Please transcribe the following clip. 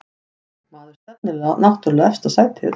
Maður stefnir náttúrlega á efsta sætið